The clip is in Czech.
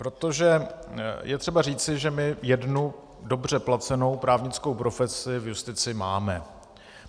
Protože je třeba říci, že my jednu dobře placenou právnickou profesi v justici máme.